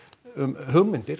um hugmyndir